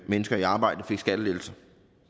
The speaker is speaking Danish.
mennesker i arbejde fik skattelettelser